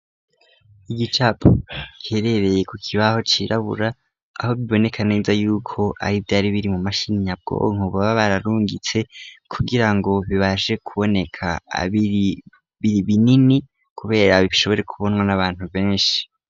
Igicapo giherereye ku kibaho cirabura .Aho biboneka neza yuko ari vyari biri mu mashini nyabwonko boba bararungitse kugira ngo bibashe kuboneka ari binini kubera bishobore kubonwa n'abantu benshi.